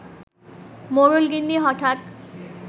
মোড়ল-গিন্নি হঠাৎ